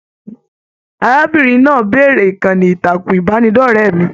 Arábìnrin náà béèrè ìkànnì ìtàkùn ìbánidọ̀rẹ̀ mí.